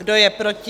Kdo je proti?